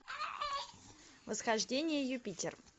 восхождение юпитер